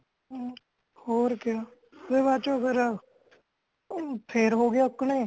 ਹਮ ਹੋਰ ਕਯਾ ਫੇਰ ਬਾਅਦ ਚੋ ਫੇਰ ਫੇਰ ਹੋਗਿਆ ਉਕਣੇ